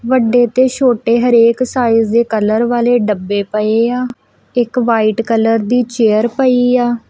ਵੱਡੇ ਤੇ ਛੋਟੇ ਹਰੇਕ ਸਾਈਜ਼ ਦੇ ਕਲਰ ਵਾਲੇ ਡੱਬੇ ਪਏ ਇੱਕ ਵਾਈਟ ਕਲਰ ਦੀ ਚੇਅਰ ਪਈ ਆ।